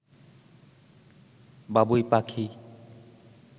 বাবুই পাখি